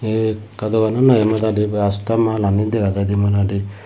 ekka doganan noi modadi byasta malani dega jaidey modadi.